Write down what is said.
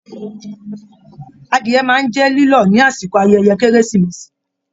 Adìyẹ máa n jẹ lilọ ni àsìkò ayẹyẹ keresimesi.